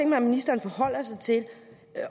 mig at ministeren forholder sig til